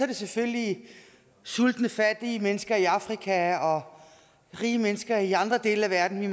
det selvfølgelig sultende fattige mennesker i afrika og rige mennesker i andre dele af verden vi